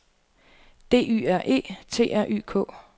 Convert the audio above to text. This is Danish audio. D Y R E T R Y K